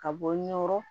Ka bɔ ɲɛkɔrɔ